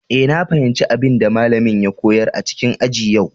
Eh, na fahimci abin da malamin ya koyar a cikin aji a yau.